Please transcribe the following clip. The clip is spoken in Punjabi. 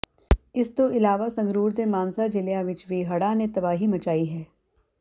ਇਸ ਤੋਂ ਇਲਾਵਾ ਸੰਗਰੂਰ ਤੇ ਮਾਨਸਾ ਜ਼ਿਲ੍ਹਿਆਂ ਵਿੱਚ ਵੀ ਹੜ੍ਹਾ ਨੇ ਤਬਾਹੀ ਮਚਾਈ ਹੈ